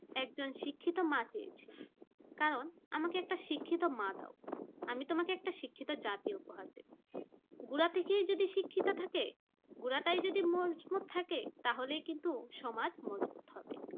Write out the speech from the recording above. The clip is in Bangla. একজন শিক্ষিত মা চেয়েছেন কারণ আমাকে একটা শিক্ষিত মা দাও আমি তোমাকে একটা শিক্ষিত জাতি উপহার দেব গোরা থেকেই যদি শিক্ষিত থাকে গোড়াটা যদি মজবুত থাকে তাহলে কিন্তু সমাজ মজবুত হবে